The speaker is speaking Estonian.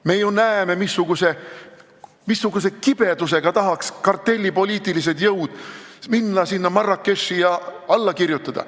Me ju näeme, kuidas kartellipoliitilised jõud kibelevad, nad tahaksid minna Marrakechi ja alla kirjutada.